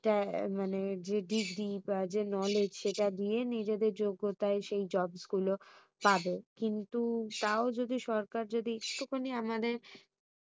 মানে যে degree বা যে knowledge সেটা দিয়ে নিজেদের যোগ্যতায় সেই jobs গুলো পাবে কিন্তু তাও যদি সরকার যদি একটুখানি আমাদের